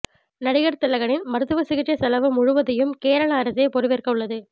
நடிகர் திலகனின் மருத்துவச் சிகிச்சை செலவு முழுவதையும் கேரள அரசே பொறுப்பேற்கவுள்ளது